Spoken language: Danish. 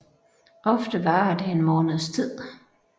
Ofte varer det en måneds tid